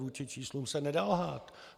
Vůči číslům se nedá lhát.